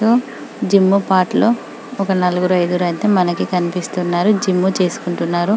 gym part లో ఒక నలుగురు ఐదుగురు అయితే మనకు కనిపిస్తున్నారు జిం చేసుకుంటున్నారు--